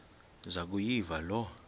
zaku yiva loo